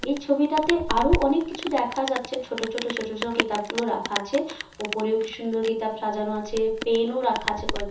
এই ছবিটাতে আরো অনেক কিছু দেখা যাচ্ছে ছোট ছোট ছোট ছোট কিতাবগুলো রাখা আছে। ওপরে ও কি সুন্দর কিতাব সাজানো আছে। পেন ও রাখা আছে কয়েক--